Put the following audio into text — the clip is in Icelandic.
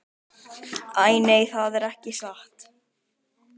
Æ, nei, það er ekki satt.